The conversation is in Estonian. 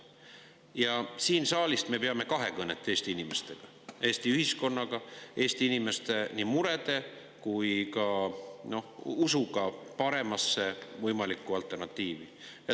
Ja siit saalist me peame kahekõnet Eesti inimestega, Eesti ühiskonnaga, nii Eesti inimeste murede kui ka usuga paremasse võimalikku alternatiivi.